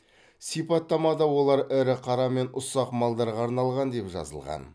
сипаттамада олар ірі қара мен ұсақ малдарға арналған деп жазылған